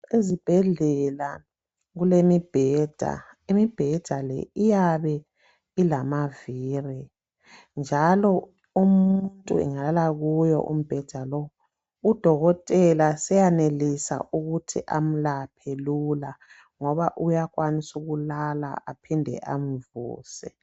Ezibhedlela kulemibheda. Imibheda le iyabe ilamavili njalo umuntu engalala kuwo umbheda lo udokotela seyanelisa ukuthi amlaphe Lula ngoba uyakwanisa ukulala aphinde amvuse